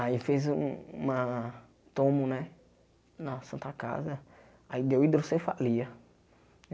Aí fez um uma tomo né na Santa Casa, aí deu hidrocefalia.